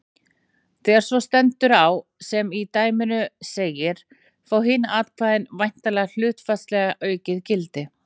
Þegar svo stendur á sem í dæminu segir fá hin atkvæði væntanlega hlutfallslega aukið gildi.